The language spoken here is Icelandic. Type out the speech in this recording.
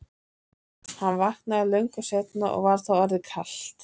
Hann vaknaði löngu seinna og var þá orðið kalt.